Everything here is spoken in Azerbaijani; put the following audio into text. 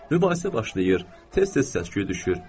Mübahisə başlayır, tez-tez səs-küy düşür.